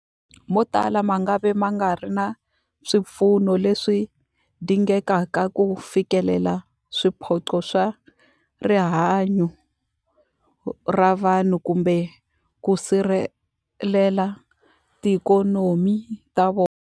Motala mangava ma nga ri na swipfuno leswi dingekaka ku fikelela xiphiqo xa rihanyu ra vanhu kumbe ku sirhelela tiikhonomi ta vona.